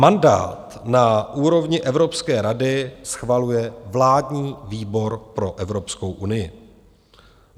Mandát na úrovni Evropské rady schvaluje vládní výbor pro Evropskou unii.